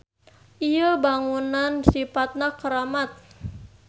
Ieu bangunan sipatna karamat